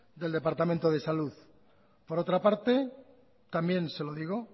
del departamento de salud por otra parte también se lo digo